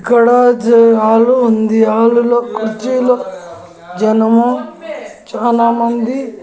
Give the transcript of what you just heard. ఇక్కడ జ ఆలు ఉంది ఆలులో కుర్చీలు జనము చానామంది--